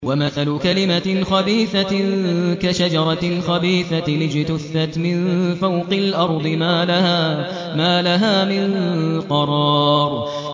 وَمَثَلُ كَلِمَةٍ خَبِيثَةٍ كَشَجَرَةٍ خَبِيثَةٍ اجْتُثَّتْ مِن فَوْقِ الْأَرْضِ مَا لَهَا مِن قَرَارٍ